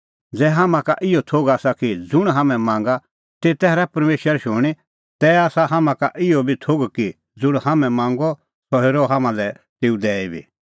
ज़ै हाम्हां का इहअ थोघ आसा कि ज़ुंण हाम्हैं मांगा तेता हेरा परमेशर शूणीं तै आसा हाम्हां का इहअ बी थोघ कि ज़ुंण हाम्हैं मांगअ सह हेरअ हाम्हां लै तेऊ दैई बी